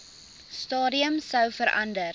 stadium sou verander